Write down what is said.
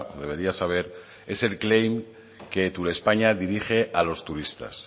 debería saber es el claim que turespaña dirige a los turistas